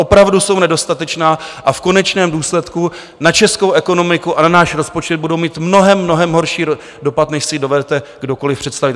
Opravdu jsou nedostatečná a v konečném důsledku na českou ekonomiku a na náš rozpočet budou mít mnohem, mnohem horší dopad, než si dovedete kdokoli představit.